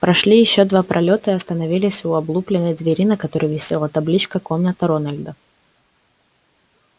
прошли ещё два пролёта и остановились у облупленной двери на которой висела табличка комната рональда